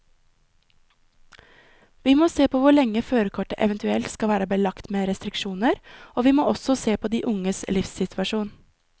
Vi må se på hvor lenge førerkortet eventuelt skal være belagt med restriksjoner, og vi må også se på de unges livssituasjon.